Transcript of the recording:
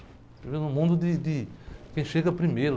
A gente vive num mundo de, de quem chega primeiro.